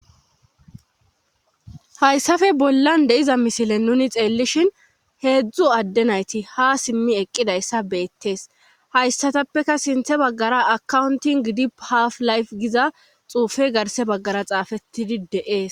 hayssafe bollan deiza misilen nuni xeellishhin heedzdzu adde nayti ha simmi eqqidayssa beettees hayssatappeka sinthe baggara akowuntin gidi haf layf giza xuufe garse baggara xaafettidi deees